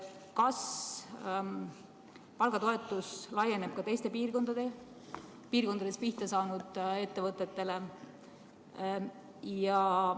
Kas palgatoetus laieneb ka teistes piirkondades pihta saanud ettevõtetele?